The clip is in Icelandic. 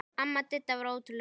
Amma Didda var ótrúleg kona.